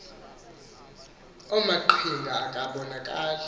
omaqhinga akasa bonakali